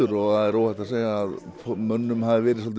og það er óhætt að segja að mönnum hafi verið